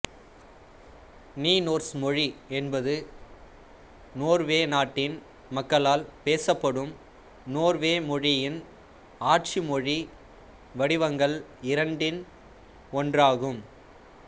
Nynorsk மொழி என்பது Norway நாட்டின் மக்களால் பேசப்படும் நோர்வே மொழியின்ஆட்சி மொழி வடிவங்கள் இரண்டில் ஒன்றாகும்